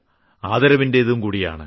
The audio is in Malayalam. ആദരവിന്റേതും കൂടിയാണ്